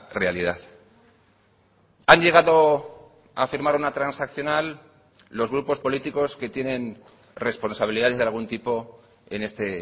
realidad han llegado a firmar una transaccional los grupos políticos que tienen responsabilidades de algún tipo en este